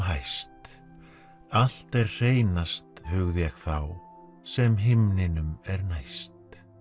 hæst allt er hreinast hugði ég þá sem himninum er næst